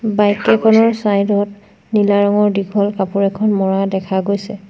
Bike কেইখনৰ side ত নীলা ৰঙৰ দীঘল কাপোৰ এখন মৰা দেখা গৈছে।